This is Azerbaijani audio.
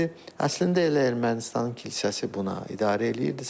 Əslində elə Ermənistanın kilsəsi buna idarə eləyirdi.